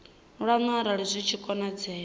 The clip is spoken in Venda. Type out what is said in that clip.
lwanu arali zwi tshi konadzea